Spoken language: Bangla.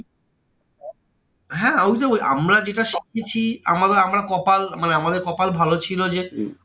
হ্যাঁ ওই জন্য বলছি, আমরা যেটা শিখেছি আমরা আমাদের কপাল মানে আমাদের কপাল ভালো ছিল যে